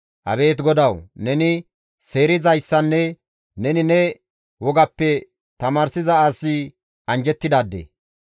Abeet GODAWU! Neni seerizaadeynne neni ne wogappe tamaarsiza asi anjjettidaade.